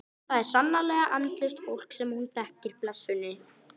Það er sannarlega andlaust fólk sem hún þekkir blessunin.